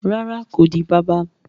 Rárá, ko di bàbà